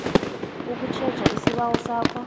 ukutjheja isibawo sakho